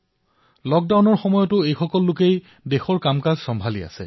লক্ডাউনৰ সময়ছোৱাত এওঁলোকেই দেশৰ কামকাজ চম্ভালি আছে